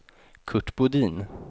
Curt Bodin